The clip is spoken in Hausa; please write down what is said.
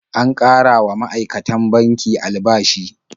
An ƙara wa ma'aikatan banki albashi.